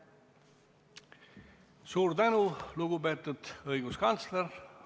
Suur tänu, lugupeetud õiguskantsler!